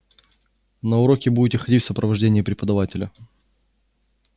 на уроки будете ходить в сопровождении преподавателя